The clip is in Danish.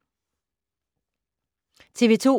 TV 2